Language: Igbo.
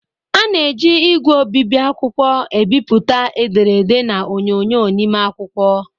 A na-eji ígwè obibi akwụkwọ ebipụta ederede na onyonyo n'ime akwụkwọ.